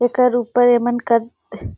एकर ऊपर एमन कद ।